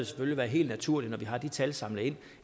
selvfølgelig være helt naturligt når vi har de tal samlet ind